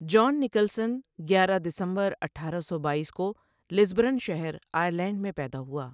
جان Nicholson کیارہ دسمبر اٹھارا سو بایس کو لسبرن شہر آٸرلینڈ میں پیدا ہوا ۔